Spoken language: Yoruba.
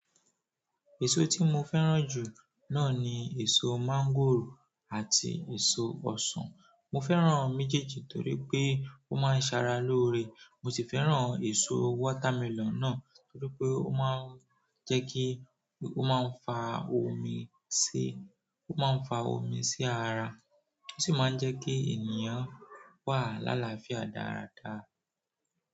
Èso tí mo fẹ́ràn jù náà ni èso mọ́ngòrò àti èso ọsàn. Mo fẹ́ràn méjèèjì torí pé ó máa ń ṣe ara lóore. Mo sì fẹ́ràn èso watermelon náà torí pé ó máa ń jẹ́ kí, ó máa ń fa omi sí, ó máa ń fa omi sí ara, ó sì máa ń jẹ́ kí ènìyàn wà l'alàáfíà dáradára.